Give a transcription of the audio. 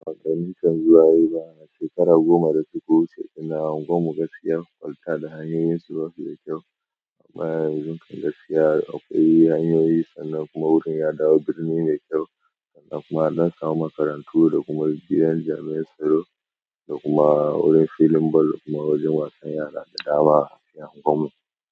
Ba wani kan zuwa yayi ba. Shekara goma da suka ina a unguwar mu gaskiya kwalta da hanyoyin su basiu da kyau. Amma yanzu kam gaskiya akwai hanyoyi sannan kuma wurin ya dawo birni ne kyau sannan kuma zan samu makarantu da kuma rigilan jami'ar tsaro da kuma wurin filin ball da kuma wajen wasan yara da dama a cikin unguwar mu.